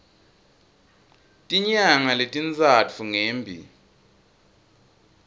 tinyanga letintsatfu ngembi